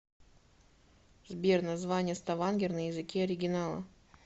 сбер название ставангер на языке оригинала